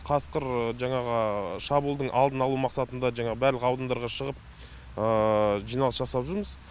қасқыр жаңағы шабуылдың алдын алу мақсатында жаңағы барлық аудандарға шығып жиналыс жасап жүрміз